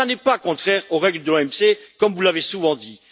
Et ce n'est pas contraire aux règles de l'OMC, comme vous l'avez souvent dit.